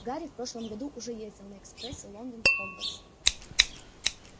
гарри в прошлом году уже ездил на экспрессе лондон хогвартс